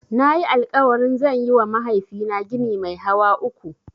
Nayi alƙawarin zan yiwa mahaifina gini mai hawa uku.